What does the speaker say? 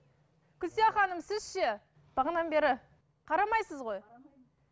гүлзия ханым сіз ше бағанадан бері қарамайсыз ғой қарамаймын